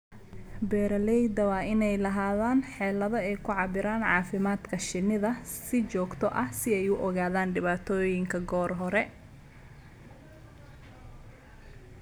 Beeralayda waa inay lahaadaan xeelado ay ku cabbiraan caafimaadka shinnida si joogto ah si ay u ogaadaan dhibaatooyinka goor hore.